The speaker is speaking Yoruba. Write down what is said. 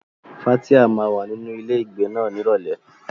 Fathia máa wà nínú ilé ìgbé náà ní Ìrọ̀lẹ́.